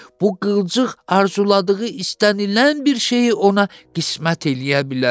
Bu qılıcıq arzuladığı istənilən bir şeyi ona qismət eləyə bilər.